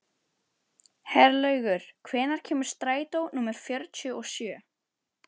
Herlaugur, hvenær kemur strætó númer fjörutíu og sjö?